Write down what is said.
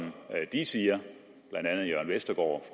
de siger blandt andet jørn vestergaard